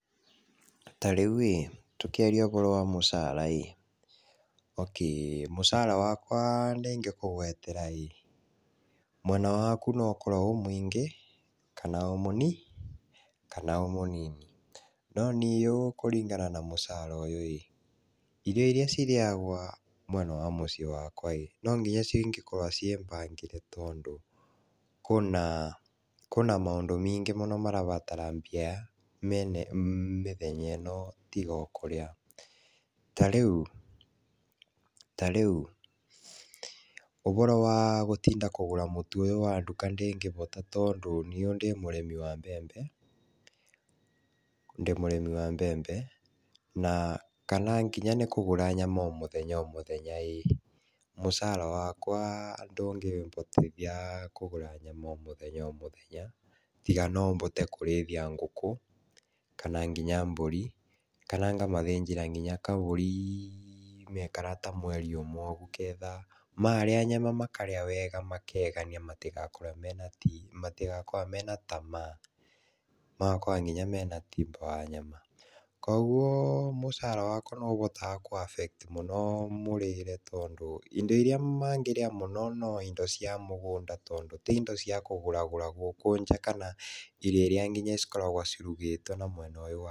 Ta rĩu-ĩ tũkĩaria ũhoro wa mũcara-ĩ, okay mũcara wakwa ndĩngĩkũgwetera-ĩ, mwena waku no ũkorwo wĩ mũingĩ kana o mũni, kana o mũnini. Noniũ kũringana na mũcara ũyũ-ĩ ,irio iria cirĩagwa mwena wa mũciĩ wakwa-ĩ, no nginya cingĩkorwa ciĩbangĩre tondũ kũna kũna maũndũ mingĩ mũno marabatara mbia mene mĩthenya ĩno tiga o kũrĩa. Ta rĩu ta rĩu, ũboro wa gũtinda kũgũra mũtu ũyũ wa nduka ndĩngĩbota, tondũ niũ ndĩ mũrĩmi wa mbembe, ndĩ mũrĩmi wa mbembe na kana nginya nĩ kũgũra nyama o mũthenya o mũthenya-ĩ, mũcara wakwa ndũngĩbotithia kũgũra nyama o mũthenya o mũthenya, tiga no bote kũrĩithia ngũkũ kana kinya mbũri, kana ngamathĩnjĩra kinya kabũri maikara ta mweri ũmwe ũguo ketha marĩa nyama makarĩa wega makegania matigakorwe mena ti matigakorwe mena tamaa, magakorwo kinya mena tiba wa nyama. Koguo mũcara wakwa nĩũhotaga kũ affect mũno mũrĩre, tondũ indo iria mangĩrĩa mũno no indo cia mũgũnda, tondũ ti indo cia kũgũragũra gũkũ nja kana irio iria nginya cikoragwo cirugĩtwo na mwena ũyũ wa...